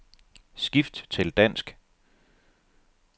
Skift til dansk.